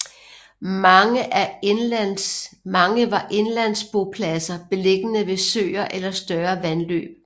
Mange var indlandsbopladser beliggende ved søer eller større vandløb